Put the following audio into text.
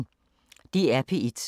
DR P1